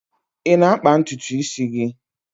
Ị na-akpa ntutu isi gị?